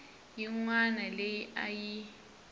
yin wana leyi a yi